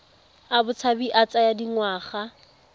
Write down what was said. a botshabi a tsaya dingwaga